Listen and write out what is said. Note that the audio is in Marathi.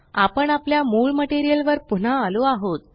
आपण आपल्या मूळ मटेरियल वर पुन्हा आलो आहोत